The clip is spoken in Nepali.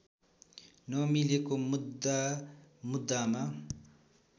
नमिलेको मुद्दा मुद्दामा